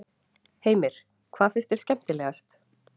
Heimir: Hvað finnst þér skemmtilegast?